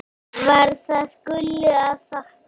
Var það Gullu að þakka.